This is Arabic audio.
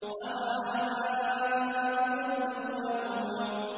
أَوَآبَاؤُنَا الْأَوَّلُونَ